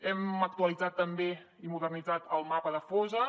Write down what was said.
hem actualitzat també i modernitzat el mapa de fosses